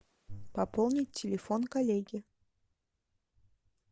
пополнить телефон коллеги